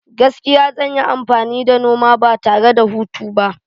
Gaskiya, zan yi amfani da noma ba tare da hutu ba.